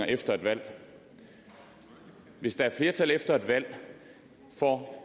efter et valg hvis der er flertal efter et valg for